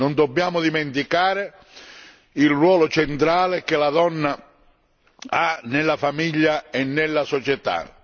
Non dobbiamo dimenticare il ruolo centrale che la donna ha nella famiglia e nella società.